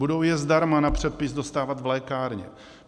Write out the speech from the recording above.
Budou je zdarma na předpis dostávat v lékárně.